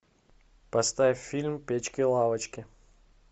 поставь фильм печки лавочки